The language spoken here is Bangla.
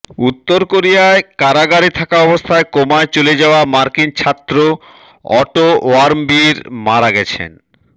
উত্তর কোরিয়ায় কারাগারে থাকা অবস্থায় কোমায় চলে যাওয়া মার্কিন ছাত্র অটো ওয়ার্মবিয়ের মারা গেছেন